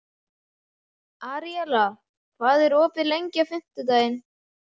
Aríela, hvað er opið lengi á fimmtudaginn?